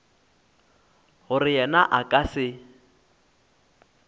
gore yena a ka se